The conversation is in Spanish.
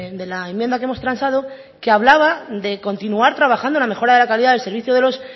de la enmienda que hemos transado que hablaba de continuar trabajando en la mejora de la calidad del servicio de los